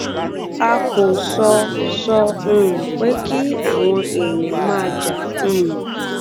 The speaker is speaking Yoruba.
a kò sọ sọ um pé kí àwọn èèyàn máa jà um